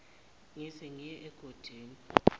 ngize ngiye egodini